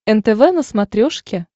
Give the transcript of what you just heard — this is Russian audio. нтв на смотрешке